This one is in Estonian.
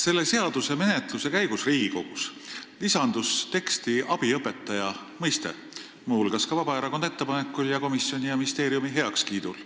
Selle seaduse menetluse käigus Riigikogus lisandus teksti abiõpetaja mõiste, muu hulgas ka Vabaerakonna ettepanekul ning komisjoni ja ministeeriumi heakskiidul.